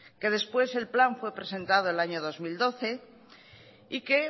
que después el plan fue presentado el año dos mil doce y que